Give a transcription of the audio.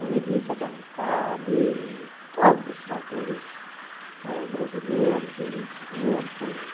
Aí li José de Alencar, li todos esses autores ãh brasileiros e estrangeiros também.